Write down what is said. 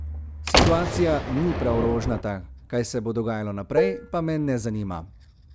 Situacija ni prav rožnata, kaj se bo dogajalo naprej, pa me ne zanima.